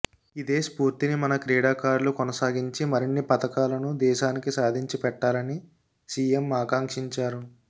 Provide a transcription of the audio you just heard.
ఇదే స్పూర్తిని మన క్రీడాకారులు కొనసాగించి మరిన్ని పతకాలను దేశానికి సాధించిపెట్టాలని సీఎం ఆకాంక్షించారు